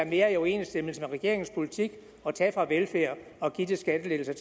mere i overensstemmelse med regeringens politik at tage fra velfærd og give til skattelettelser